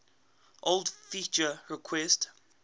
old feature requests